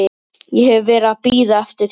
Ég hef verið að bíða eftir þér.